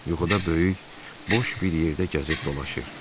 Yuxuda böyük, boş bir yerdə gəzib dolaşır.